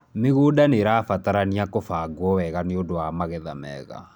mĩgũnda nĩrabataranĩa kubagwo wega nĩũndũ wa magetha mega